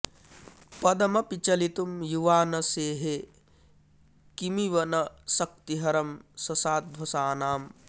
पदमपि चलितुं युवा न सेहे किमिव न शक्तिहरं ससाध्वसानां